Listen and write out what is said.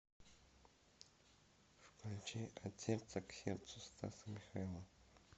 включи от сердца к сердцу стаса михайлова